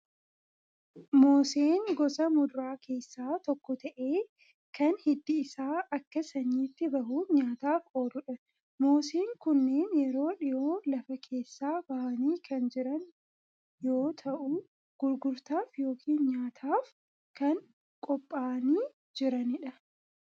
Moseen gosa muduraa keessaa tokko ta'ee, kan hiddi isaa akka sanyiitti bahuun nyaataaf ooludha. Moseen kunneen yeroo dhiyoo lafa keessaa bahanii kan jiran yoo ta'u, gurgurtaaf yookiin nyaataaf kan qophaa'anii jiranidha.